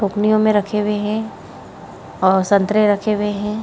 टोकनियों में रखे हुए हैं और संतरे रखे हुए हैं।